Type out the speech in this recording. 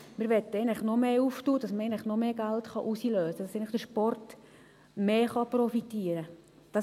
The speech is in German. Wir möchten das eigentlich noch mehr öffnen, damit man noch mehr Geld herauslösen kann, damit der Sport mehr profitieren kann.